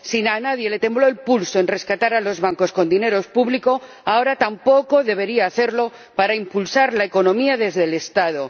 Si a nadie le tembló el pulso al rescatar a los bancos con dinero público, ahora tampoco debería temblarle a nadie para impulsar la economía desde el Estado.